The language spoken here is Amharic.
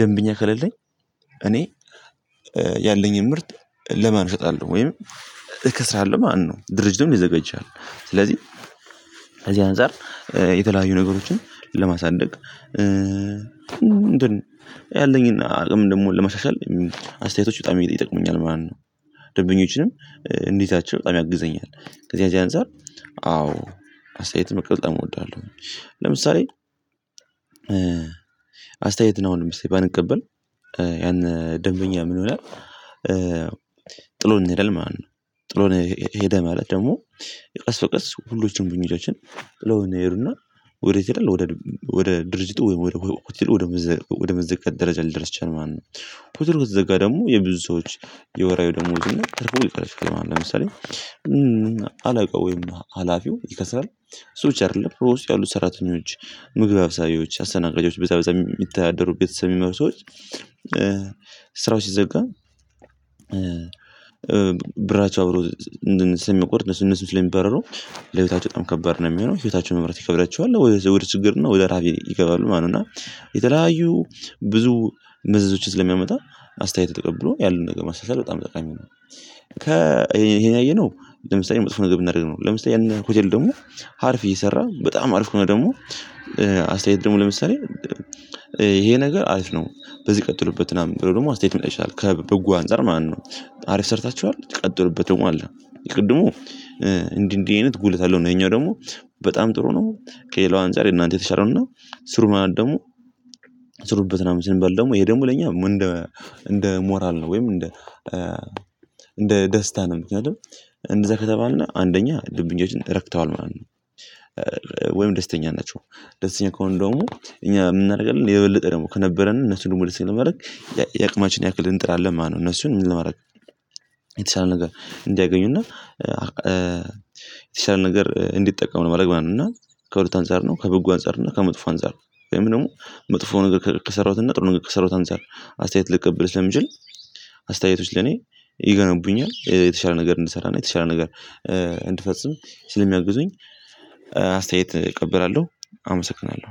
ደንብኛ ከለለኝ እኔ ያለኝን ምርት ለማን እሰጣለሁ ወይም እከስራለሁ ማንም ድርጅቱን ሊዘጋ ይችላል። ስለዚህ እዚህ አንፃር የተለያዩ ነገሮችን ለማሳደግ እንትን ያለኝን አቅም ደግሞ ለመሻሻል አስተያየቶች በጣም ይጠቅሙኛል ማለት ነው። ደንበኞችንም እንዴዛቸው በጣም ያግዘኛል ከዚህ አዚያ አንፃር አዎ አስተያየትም መቀበል በጣም እወዳለሁ። ለምሳሌ አስተያየት ነው አሁንም እስቲ ባንቀበል ያን ደንበኛ ምን ይሆናል? ጥሎን ይሄዳል ማለት ነው ጥሎን ሄደ ማለት ደግሞ ቀስ በቀስ ሁሎችም ጥለውን ይሄዱና ወዴት ይሄዳል ወደ ወደ ድርጅቱ ወይ ሆቴሉ ወደ ወደ መዘጋት ደረጃ ልደርስ ይችላል ማለት ነው። ሆቴሉ ከተዘጋ ደግሞ የብዙዎች የወራዊ ደሞዙና ትርፉ ይከስራል ማለት ነው። ለምሳሌ አለቃው ወይም አላፊው ይከስራል እሱ ብቻ ኣይደለም በውስጥ ያሉ ሰራተኞች ምግብ አብሳዬዎች አሰተናጋጆች በዛ በዛ የሚታደሩ ቤተሰብ የሚመሩ ሰዎች ስራው ሲዘጋ ብራቸው አብሮ እንድንሰማ የሚቆርጥ እነሱ እነሱ ስለሚባረሩ ለቤታቸው በጣም ከባድ ነው የሚሆነው ህይወታቸውን መምራት ይከብዳቸዋል ወደ ወደ ችግር እና ወደ ረሃብ ይገባሉ ማለት ነው። እና የተለያዩ ብዙ መዘዞችን ስለሚያመጣ አስተያየት ተቀብሎ ያሉን ነገር መሻሻል በጣም ጠቃሚ ነው። ይሄን ያየነው ለምሳሌ መጥፎ ነገር ብናደርግ ነው ለምሳሌ የኔ ሆቴል ደግሞ አርፍ እየሰራ በጣም አርፍ ከሆነ ደግሞ አስተያየት ደግሞ ለምሳሌ ይሄ ነገር አሪፍ ነው በዚህ ቀጥሎበት ምናምን ብሎ ደግሞ አስተያየት ሊመጣ ይችላል ከበጎ አንፃር ማለት ነው። አሪፍ ሰርታችኋል ቀጥሩበት ደሞ አለ የቅድሙ እንዲህ እንዲህ አይነት ጉለት አለው ነው ይሄኛው ደግሞ በጣም ጥሩ ነው። ከሌላው አንፃር የእናንተ የተሻለው እና ስሩ ማለት ደግሞ ስሩበት ምናምን ስንባል ደግሞ ይሄ ደግሞ ለኛ እንደ እንደ ሞራል ነው ወይም እንደ እንደ ደስታ ነው። ምክንያቱም እንደዛ ከተባልና አንደኛ ደንቦኞችን ረክተዋል ማለት ነው ወይም ደስተኛ ናቸው ደስተኛ ከሆነ ደግሞ እኛ የምንናደርጋለን የበለጠ ደግሞ ከነበረን እነሱን ሙሉ ሲመለከት የአቅማችን ያክልን እንጥራለን ማለት ነው። እነሱን ምን ለማድረግ የተሻለ ነገር እንዲያገኙና የተሻለ ነገር እንዲጠቀሙ ለማረግ ማለት ነው። እና ከሁለት አንፃር ነው ከበጎ አንፃር እና ከመጥፎ አንፃር ወይም ደግሞ መጥፎ ነገር ከሰራሁትና ጥሩ ነገር ከሰራሁት አንፃር አስተያየት ልቀበል ስለምችል አስተያየቶች ለኔ ይገነቡኛል የተሻለ ነገር እንድሰራና የተሻለ ነገር እንድፈጽም ስለሚያግዙኝ አስተያየት እቀበራለሁ። አመሰግናለሁ